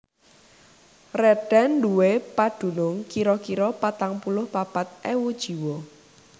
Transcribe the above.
Rheden nduwé padunung kira kira patang puluh papat ewu jiwa